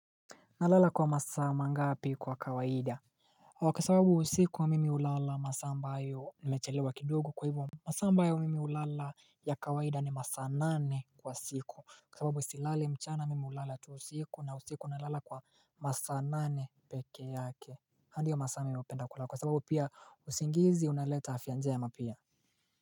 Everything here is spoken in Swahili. Nalala kwa masaa mangapi kwa kawaida kwa sababu usiku mimi hulala masaa ambayo nimechelewa kidogo kwa hivo masaa ambayo mimi hulala ya kawaida ni masaa nane kwa siku kwa sababu silali mchana mimi hulala tu usiku na usiku nalala kwa masaa nane peke yake ndiyo masaa mimi hupenda kulala sababu pia usingizi unaleta hafyanja ya mapia.